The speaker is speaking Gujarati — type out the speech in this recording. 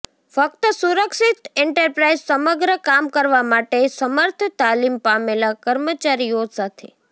ફક્ત સુરક્ષિત એન્ટરપ્રાઇઝ સમગ્ર કામ કરવા માટે સમર્થ તાલીમ પામેલા કર્મચારીઓ સાથે